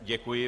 Děkuji.